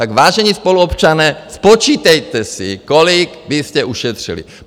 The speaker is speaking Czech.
Tak, vážení spoluobčané, spočítejte si, kolik byste ušetřili.